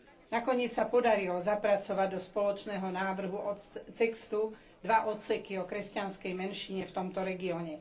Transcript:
Nakoniec sa podarilo zapracovať do spoločného návrhu textu dva odseky o kresťanskej menšine v tomto regióne.